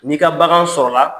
Ni ka bagan sɔrɔ la